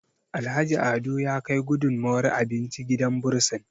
Alhaji Ado ya Kai gudunmawar abinci gidan bursin